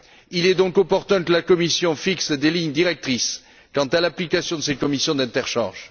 Il est donc opportun que la Commission fixe des lignes directrices quant à l'application de ces commissions d'interchange.